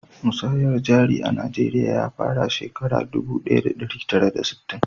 Musayar jari a najeriya ya fara shekara dubu daya da dari tara da sittin